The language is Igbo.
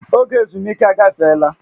Oge ezumike agafeela